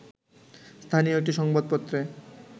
স্থানীয় একটি সংবাদপত্রে